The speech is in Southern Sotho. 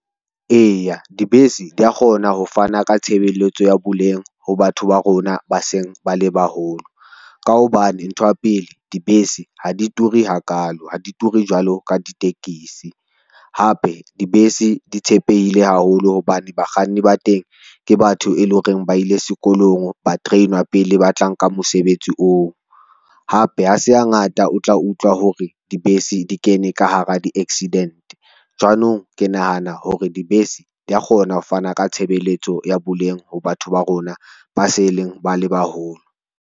Eya, dibese di a kgona ho fana ka tshebeletso ya boleng ho batho ba rona ba seng bale baholo, ka hobane ntho ya pele dibese ha di ture hakalo, ha di ture jwalo ka ditekesi. Hape dibese di tshepehile haholo hobane bakganni ba teng ke batho, e leng hore ba ile sekolong ba train-wa pele ba tlang ka mosebetsi oo, hape ha se hangata o tla utlwa hore dibese di kene ka hara di-accident. Jwanong ke nahana hore dibese di kgona ho fana ka tshebeletso ya boleng ho batho ba rona ba se leng ba le baholo.